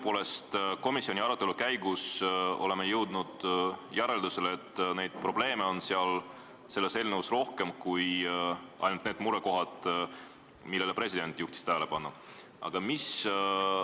Tõepoolest, komisjoni arutelu käigus oleme jõudnud järeldusele, et probleeme on seal eelnõus rohkem kui ainult need murekohad, millele president tähelepanu juhtis.